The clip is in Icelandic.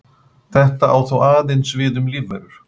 Þetta á þó aðeins við um lífverur.